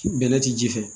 Bɛnɛ ti ji fɛ